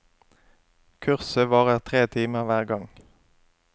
Kurset varer tre timer hver gang.